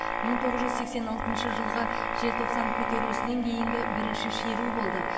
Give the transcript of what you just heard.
мың тоғыз жүз сексен алтыншы жылғы желтоқсан көтерілісінен кейінгі бірінші шеру болды